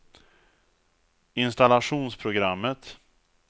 installationsprogrammet